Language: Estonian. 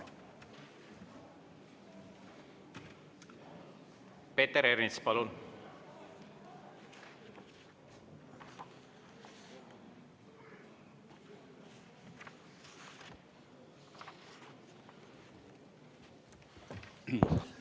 Peeter Ernits, palun!